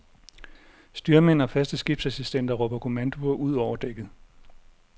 Styrmænd og faste skibsassistenter råber kommandoer ud over dækket.